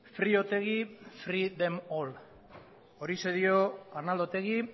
free otegi free them all horixe dio arnaldo otegi